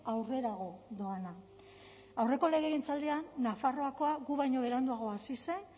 aurrerago doana aurreko legegintzaldian nafarroakoa gu baino beranduago hasi zen